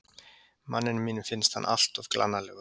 Manninum mínum finnst hann alltof glannalegur.